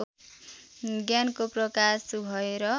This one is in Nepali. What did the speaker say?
ज्ञानको प्रकाश भएर